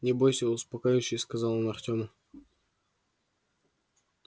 не бойся успокаивающе сказал он артёму